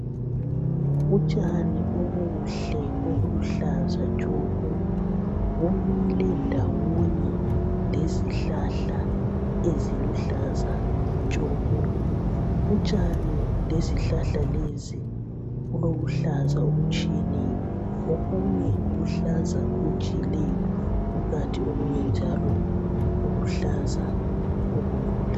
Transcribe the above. Utshani obuhle obuluhlaza tshoko bumile ndawonye lezihlahla eziluhlaza tshoko. Utshani lezihlahla lezi kulobuhlaza obutshiyeneyo okumye kuluhlaza okujiyileyo okunye njalo kuluhlaza obulula